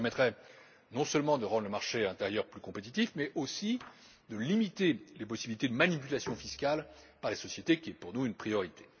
Cela permettrait non seulement de rendre le marché intérieur plus compétitif mais aussi de limiter les possibilités de manipulation fiscale par les sociétés, ce qui est pour nous une priorité.